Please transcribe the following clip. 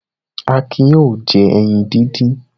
Akin yóò jẹ ẹyin dídín.